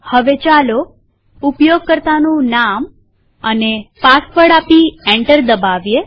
હવે ચાલો ઉપયોગકર્તાનું નામ અને પાસવર્ડ આપી એન્ટર દબાવીએ